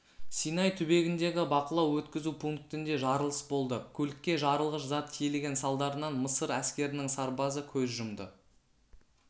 синай түбегіндегі бақылау-өткізу пунктінде жарылыс болды көлікке жарылғыш зат тиелген салдарынан мысыр әскерінің сарбазы көз жұмды